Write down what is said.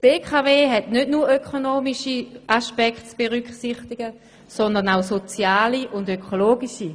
Die BKW hat nicht nur ökonomische Aspekte zu berücksichtigen, sondern auch soziale und ökologische.